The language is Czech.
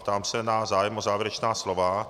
Ptám se na zájem o závěrečná slova.